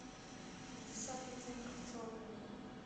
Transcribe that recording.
пятьдесят оттенков черного